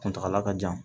Kuntagala ka jan